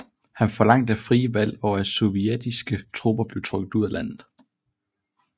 Han forlangte frie valg og at sovjetiske tropper blev trukket ud af landet